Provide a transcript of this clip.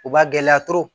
U ba gɛlɛya